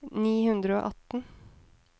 ni hundre og atten